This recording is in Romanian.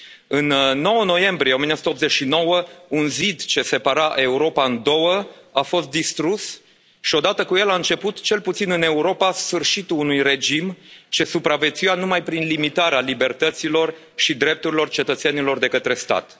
În 9 noiembrie 1989, un zid ce separa Europa în două a fost distrus, și odată cu el a început, cel puțin în Europa, sfârșitul unui regim ce supraviețuia numai prin limitarea libertăților și drepturilor cetățenilor de către stat.